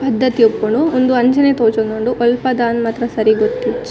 ‌ ಪದ್ದತಿ ಇಪ್ಪುಂಡು ಉಂದು ಅಂಚನೆ ತೋಜೊಂದುಂಡು ಒಲ್ಪದ ಅಂದ್ ಮಾತ್ರ ಸರಿ ಗೊತ್ತಿಜ್ಜಿ ‌.